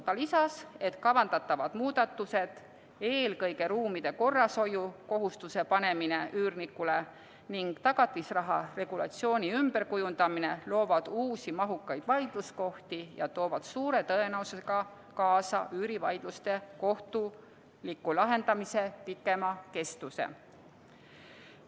Ta arvab, et kavandatavad muudatused, eelkõige ruumide korrashoiu kohustuse panemine üürnikule ning tagatisraha regulatsiooni ümberkujundamine loovad uusi mahukaid vaidluskohti ja toovad suure tõenäosusega kaasa üürivaidluste kohtuliku lahendamise pikema kestuse.